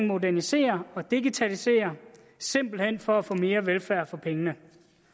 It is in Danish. modernisere og digitalisere simpelt hen for at få mere velfærd for pengene